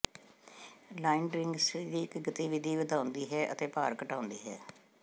line ਡਰੀਿੰਗ ਸਰੀਰਕ ਗਤੀਵਿਧੀ ਵਧਾਉਂਦੀ ਹੈ ਅਤੇ ਭਾਰ ਘਟਾਉਂਦੀ ਹੈ